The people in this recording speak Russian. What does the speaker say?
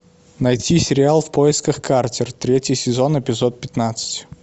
найти сериал в поисках картер третий сезон эпизод пятнадцать